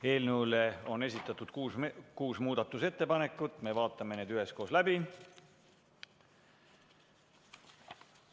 Eelnõu kohta on esitatud kuus muudatusettepanekut, me vaatame need üheskoos läbi.